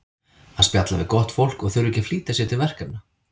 Að spjalla við gott fólk og þurfa ekki að flýta sér til verkefna.